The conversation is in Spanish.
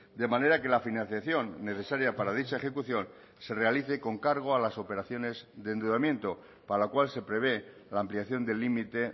de manera que la financiación necesaria para dicha ejecución se realice con cargo a las operaciones de endeudamiento para lo cual se prevé la ampliación del límite